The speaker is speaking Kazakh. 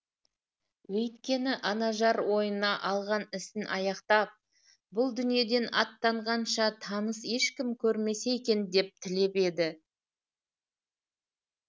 өйткені анажар ойына алған ісін аяқтап бұл дүниеден аттанғанша таныс ешкім көрмесе екен деп тілеп еді